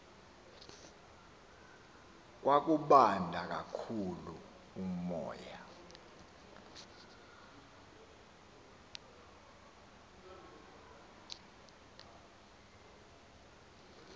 kwakubanda kakhulu umoya